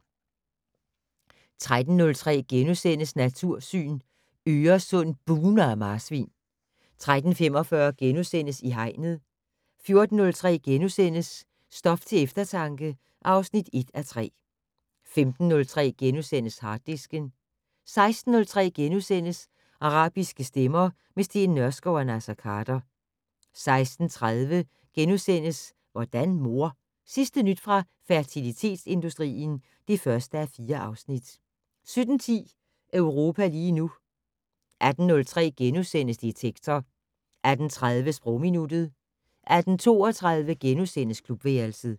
13:03: Natursyn: Øresund bugner af marsvin * 13:45: I Hegnet * 14:03: Stof til eftertanke (1:3)* 15:03: Harddisken * 16:03: Arabiske stemmer - med Steen Nørskov og Naser Khader * 16:30: Hvordan mor? Sidste nyt fra fertilitetsindustrien (1:4)* 17:10: Europa lige nu 18:03: Detektor * 18:30: Sprogminuttet 18:32: Klubværelset *